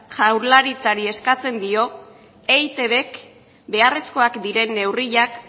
jaurlaritzari eskatzen dio eitbk beharrezkoak diren neurriak